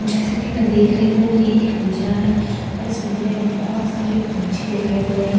जैसे कि मैं देख रही हूं ये एक पिंजरा है और इस पिंजरे में बहुत सारे पंछी दिखाई दे रहे हैं सारे --